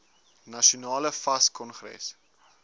nasionale fas kongres